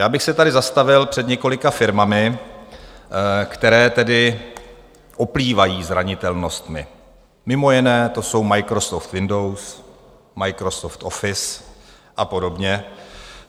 Já bych se tady zastavil před několika firmami, které tedy oplývají zranitelnostmi, mimo jiné to jsou Microsoft Windows, Microsoft Office a podobně.